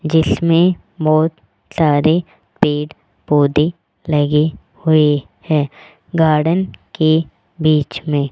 जिसमें बहुत सारे पेड़ पौधे लगे हुए है गार्डन के बीच में।